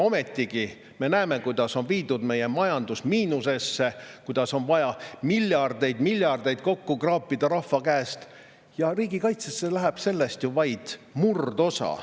Ometigi me näeme, kuidas on viidud meie majandus miinusesse, kuidas on vaja miljardeid-miljardeid kokku kraapida rahva käest, ja riigikaitsesse läheb sellest ju vaid murdosa.